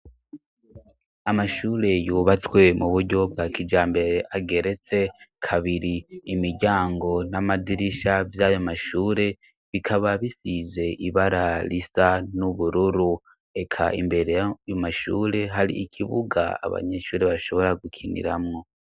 Amashure yubatswe mu buryo bwa kijambere ageretse kabiri. Imiryango n'amadirisha vy'ayo mashure bikaba bisize ibara risa n'ubururu reka imbere ayo mashure hari ikibuga abanyeshuri bashobora gukiniramwo.